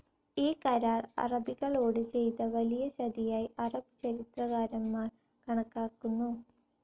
ഈ കരാർ അറബികളോട് ചെയ്ത വലിയ ചതിയായി അറബ് ചരിത്രകാരന്മാർ കണക്കാക്കുന്നു.